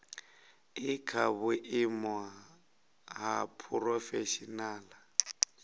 i kha vhuimo ha phurofeshinala